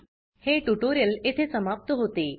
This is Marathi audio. हे ट्यूटोरियल येथे समाप्त होते